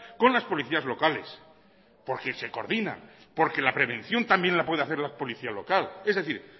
con las policías locales porque se coordinan porque la prevención también la puede hacer la policía local es decir